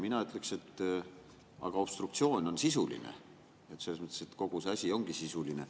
Mina ütleksin, et obstruktsioon on sisuline, selles mõttes, et kogu see asi ongi sisuline.